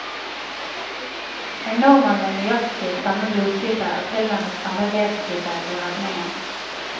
En nordmann med nøyaktig samme blodtype og tilnærmet samme vevstype ble redningen.